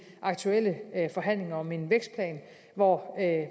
aktuelle forhandlinger om en vækstplan hvor